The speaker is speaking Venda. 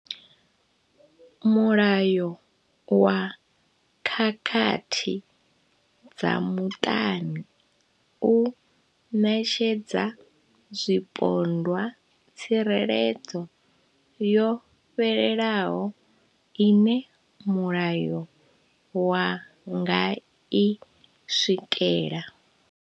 Mulayo wa khakhathi dza muṱani u ṋetshedza zwipondwa tsireledzo yo fhelelaho ine mulayo wa nga i swikela.